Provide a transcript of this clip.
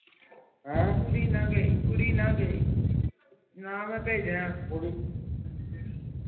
ਹਨ ਕੁੜੀ ਨਾ ਗਈ ਕੁੜੀ ਨਾ ਗਈ ਨਾ ਮੈਂ ਪੈਜਨਾ